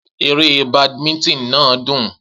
Eré badminton náà dùn.